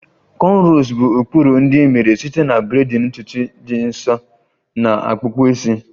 Cornrows bụ ụkpụrụ ndị e mere site na braiding ntutu dị nso na akpụkpọ isi.